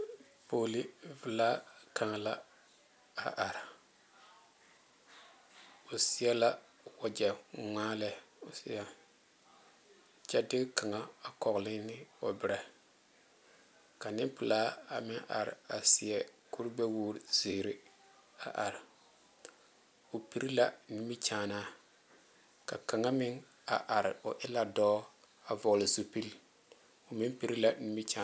Pɔge le pelaa kaŋa la a are o seɛ la wagye ŋmaa lɛ o seɛ kyɛ de kaŋa a kɔgle ne o bɛrɛ ka nenpelaa a meŋ are a seɛ kuri gbɛ wogre ziiri a are o pire la nimikyaanaa ka kaŋa meŋ a are o e la dɔɔ a vɔgle zupele o meŋ pire la nimikyaane.